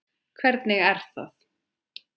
Hvernig er það?